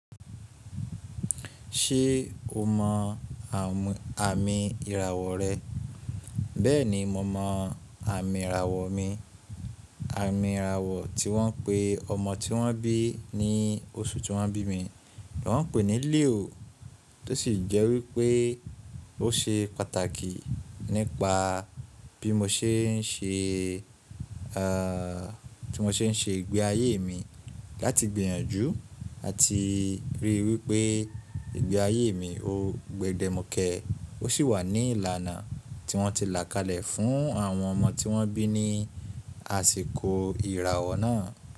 Ṣé o mọ àmì ìràwọ̀ rẹ? Bẹ́ẹ̀ni, mo mọ àmì ìràwọ̀ mi. Àmì ìràwọ̀ tí wọ́n pe ọmọ tí wọ́n bí ní oṣù tí wọ́n bí mi, lọ́ pè ní Leo, tó sì jẹ́ wípé ó ṣe pàtàkì nípa bí mo ṣe ń ṣe, ẹ́ẹ́, tí mo ṣe ń ṣe ìgbé ayé mi láti gbìyànjú àti ríi wípé ìgbé ayé mi ó gbe dẹ mukẹ́, ó sì wà ní ìlànà tí wọ́n ti là kalẹ̀ fún àwọn ọmọ tí wọ́n bí ní àsìkò ìràwọ̀ náà.